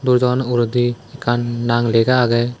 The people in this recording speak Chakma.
dorjan uguredi ekkan nang lega agey.